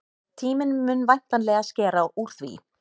Tíminn mun væntanlega skera úr því.